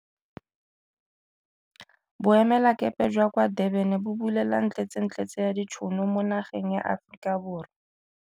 Boemelakepe jwa kwa Durban bo bulela ntletsentletse ya ditšhono mo nageng ya Aforika Borwa.